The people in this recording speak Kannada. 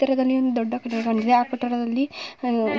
ಹತ್ತಿರದಲ್ಲಿ ಒಂದು ದೊಡ್ಡ ಕಟ್ಟಡ ಇದೆ ಆ ಕಟ್ಟಡದಲ್ಲಿ